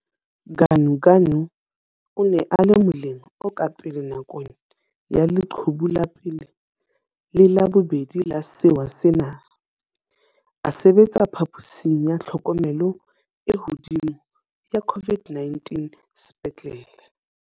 Ganuganu o ne a le moleng o ka pele nakong ya leqhubu la pele le la bobedi la sewa sena, a sebetsa phaposing ya tlhokomelo e hodimo ya COVID-19 sepetlele.